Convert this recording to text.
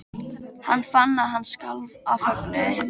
Hann fann að hann skalf af fögnuði.